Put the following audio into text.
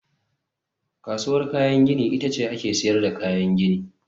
Kasuwar kayan gini ita ce ake sayar da kayan gini